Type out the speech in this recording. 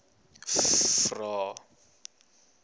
vvvvrae